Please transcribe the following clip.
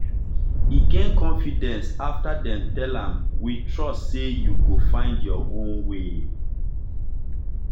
e gain confidence after dem tell am “we trust say you go find your own way.”